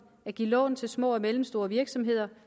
at give lån til små og mellemstore virksomheder